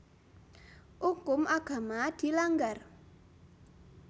Ukum agama dilanggar